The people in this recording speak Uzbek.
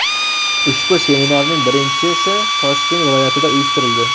Ushbu seminarning birinchisi Toshkent viloyatida uyushtirildi.